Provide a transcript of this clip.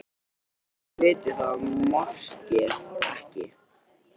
Þótt hún viti það máske ekki.